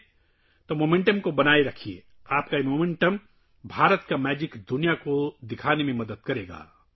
اس لیے رفتار کو برقرار رکھیں... آپ کی یہ رفتار... دنیا کو ہندوستان کا جادو دکھانے میں مدد کرے گی